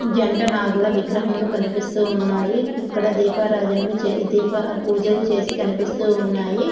జంట నాగుల విగ్రహములు కనిపిస్తూ ఉన్నాయి ఇక్కడ దీపారాధనలు చే-దీప-పూజలు చేసి కనిపిస్తూ ఉన్నాయి.